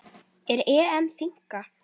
Er EM þynnka?